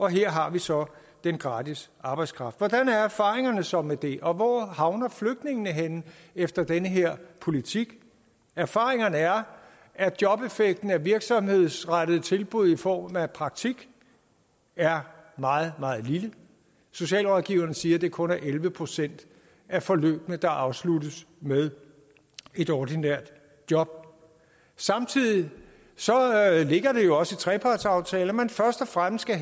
her har vi så den gratis arbejdskraft hvordan er erfaringerne så med det og hvor havner flygtningene henne efter denne her politik erfaringerne er at jobeffekten af virksomhedsrettede tilbud i form af praktik er meget meget lille socialrådgiverne siger at det kun er elleve procent af forløbene der afsluttes med et ordinært job samtidig ligger det jo også i trepartsaftalen at man først og fremmest